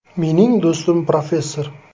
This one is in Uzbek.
“Mening do‘stim professor.